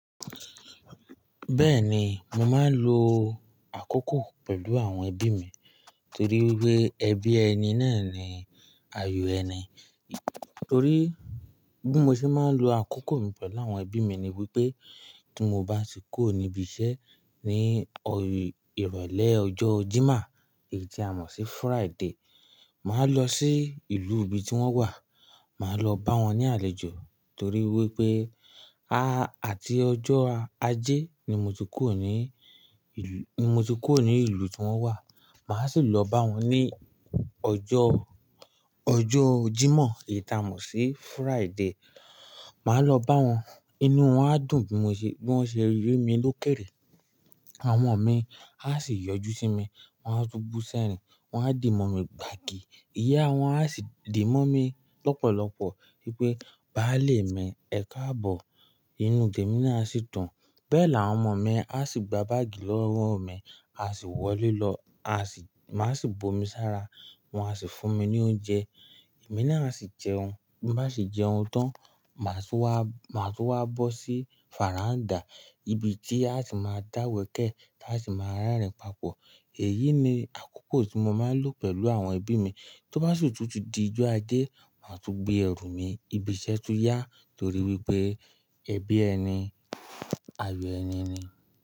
Bẹ́ẹ̀ni, mo máa ń lo àkókò pẹ̀lú àwọn ẹbí mi torí wí pé ẹbí ẹni náà ni ayò ẹni. Torí bí mo ṣe máa ń lo àkókò mi pẹ̀lú àwọn ẹbí mi ni wípé tí mo bá ti kuó nibi iṣẹ́ ní ìrọ̀lẹ́ ọjọ́ Jímà, èyí tí a mọ̀ sí Friday, màá lọ sí ìlú ibi tí wón wà, màá lọ bá wọn ní àlejò torí wípé a àti ọjọ́ Ajé ni mo ti kuró ni, ni mo ti kuró ni ìlú tí wón wà. Màá sì lọ bá wọn ní ọjọ́, ọjọ́ Jímọ̀ èyí tí a mọ̀ sí Friday. Màá lọ bá wọn, inú wọn á dùn bí wọ́n ṣe rí mi lókèèrè. Àwọn ọmọ mi á sì yọjú sí mi, wọ́n á tún bú sẹ́rin, wọ́n á dì mọ́ mi gbàgì. Ìyá wọn á sì dìbọ̀ mi lọ́pọ̀lọpọ̀ wípé, "báà lé mi ẹkáàbọ̀". Inú tèmi náà a sì dùn. Bẹ́ẹ̀ ni àwọn ọmọ mi á sì gba báàgì lọ́won mi, a sì wọlé lọ, a sì, màá sì bomi sára, wọn a sì fún mi ní oúnjẹ. Èmi náà sì jẹun. Bí mo bá sì jẹun tán, màá tún wá, màá tún wá bọ́ sí fàrándà ibi tí a sì máa dáwọ́kẹ̀ẹ́ tí a sì máa rerìn papọ̀. Èyí ni àkókò tí mo máa ń lò pẹ̀lú àwọn ẹbí mi. Tó bá sì tútù di ọjọ́ Ajé, màá tún gbé ẹrù mi ibi iṣẹ́ tún yá torí wípé ẹbí ẹni ayò ẹni ni.